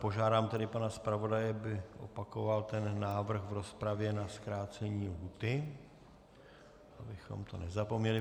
Požádám tedy pana zpravodaje, aby opakoval ten návrh v rozpravě na zkrácení lhůty, abychom to nezapomněli.